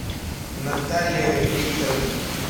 наталья викторовна